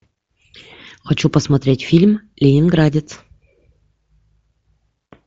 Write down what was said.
хочу посмотреть фильм ленинградец